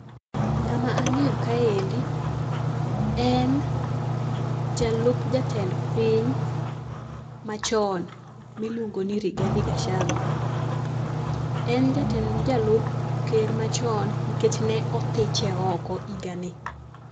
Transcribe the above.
Ng'ama ang'eyo ka endi en, jalup jatend piny machon miluongo ni Rigathi Gachagua. En jatend jalup ker machon nikech ne othiche oko higa ni.